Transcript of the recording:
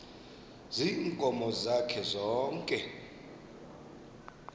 ziinkomo zakhe zonke